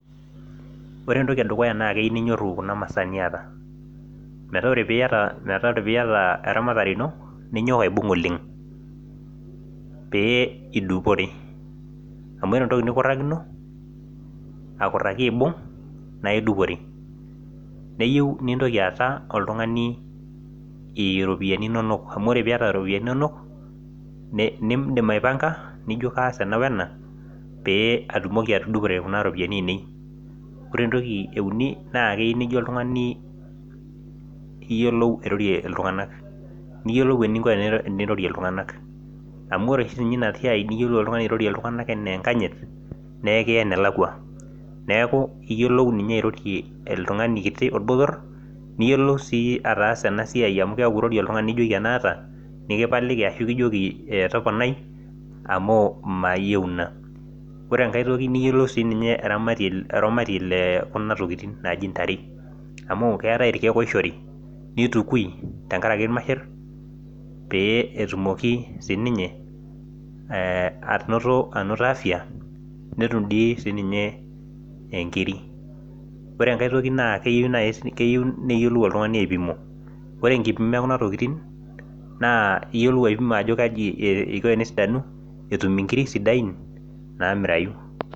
Ore entoki edukuya naa keyieu ninyorru kuna masaa niata, metaa ore piiyata eramatare ino ninyok aibung oleng pee idupore amu ore entoki nikurrakino, akurraki aibung naa idupore. Neyieu nintoki aata oltung'ani iropiyiani inonok amu ore piyata iropiyiani inonok niindim aipanga, nijo kaas ena wena pee atumoki atudupore kuna ropiyiani ainei. Ore entoki euni naa keyieu naijo oltung'ani iyiolou airorie iltung'anak niyiolou eninko enirorie iltung'anak. Amu ore oshi siininye ina siai niyiolou oltung'ani airorie iltung'anak enaa enkanyit nekiya enelakwa. Neeku iyiolou ninye airorie oltung'ani kiti, orbotorr niyiolou sii ataasa ena siai amu keeku ore oltung'ani nijoki ena aata, nikijoki toponai ashu mayieu ina. Ore enkae toki niyiolou siininye eramatie le kuna tokiting naaji ntare amu keetae irkiek oishori, nitukui tenkaraki irmasherr pee etumoki siininye anoto afya netum dii siininye inkiri. Ore enkae toki naa keyieu neyiolou oltung'ani aipimo, ore enkipimo e kuna tokiting naa iyiolou aipimo ajo kaji iko enesidanu, peetum inkiri sidain naamirayu